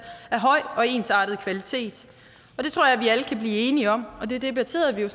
af høj og ensartet kvalitet og det tror jeg vi alle kan blive enige om og det debatterede vi jo